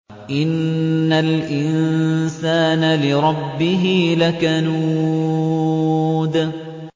إِنَّ الْإِنسَانَ لِرَبِّهِ لَكَنُودٌ